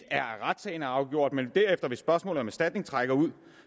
er at retssagen er afgjort men hvis spørgsmålet om erstatning derefter trækker ud